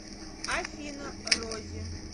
афина рози